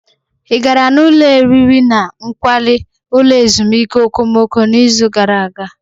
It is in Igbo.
Ị gara n'ụlọ oriri na nkwari ulo ezimuike okomoko n'izu gara aga?